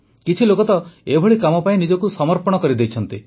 କିଛି ଲୋକ ତ ଏଭଳି କାମ ପାଇଁ ନିଜକୁ ହିଁ ସମର୍ପି ଦିଅନ୍ତି